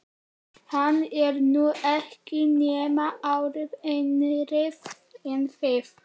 Hann er nú ekki nema ári yngri en þið.